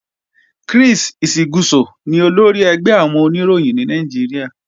Chris Isiguzo ni olórí ẹgbẹ́ àwọn Oníròyìn ní Nàìjíríà